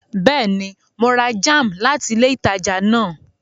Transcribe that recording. Bẹẹni, Mo rà jam láti ilé ìtàjà náà